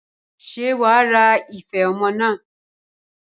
Ṣé wàá ra ife ọmọ naa?